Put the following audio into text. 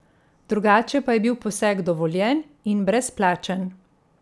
Drugače pa je bil poseg dovoljen in brezplačen.